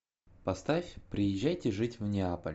поставь приезжайте жить в неаполь